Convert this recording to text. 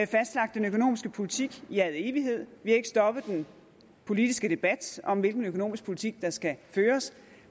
fastlagt den økonomiske politik i al evighed vi har ikke stoppet den politiske debat om hvilken økonomisk politik der skal føres